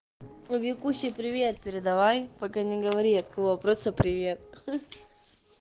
ну викуси привет передавай пока не говори от кого просто привет